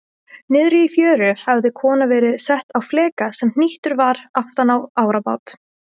Niðri í fjöru hafði kona verið sett á fleka sem hnýttur var aftan í árabát.